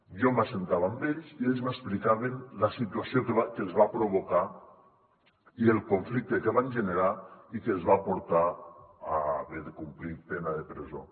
jo seia amb ells i ells m’explicaven la situació que els va provocar i el conflicte que van generar i que els va portar a haver de complir pena de presó